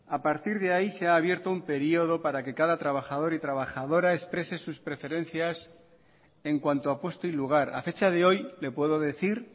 a partir de ahí se ha abierto un periodo para que cada trabajador y trabajadora exprese sus preferencias en cuanto a puesto y lugar a fecha de hoy le puedo decir